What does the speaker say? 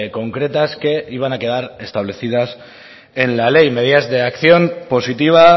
concretas que iban a quedar establecidas en la ley medidas de acción positiva